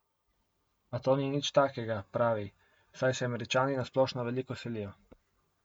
A to ni nič takega, pravi, saj se Američani na splošno veliko selijo.